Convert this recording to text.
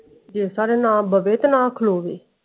ਤੇ ਨਾ ਖਲੋਵੇ।